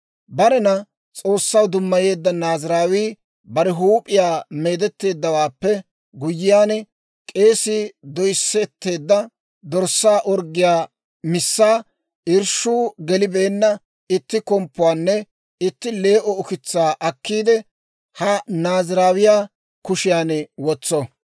« ‹Barena S'oossaw dummayeedda Naaziraawii bare huup'iyaa meedetteeddawaappe guyyiyaan, k'eesii doyisetteedda dorssaa orggiyaa missaa, irshshuu gelibeenna itti komppuwaanne itti lee"o ukitsaa akkiide, ha Naaziraawiyaa kushiyan wotso.